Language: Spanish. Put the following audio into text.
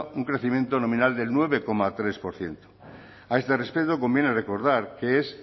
un crecimiento nominal del nueve coma tres por ciento a este respecto conviene recordar que es